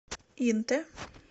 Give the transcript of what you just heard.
инте